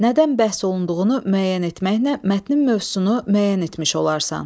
Nədən bəhs olunduğunu müəyyən etməklə mətnin mövzusunu müəyyən etmiş olarsan.